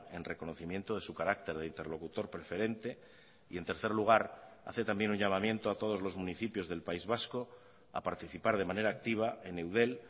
en reconocimiento de su carácter de interlocutor preferente y en tercer lugar hace también un llamamiento a todos los municipios del país vasco a participar de manera activa en eudel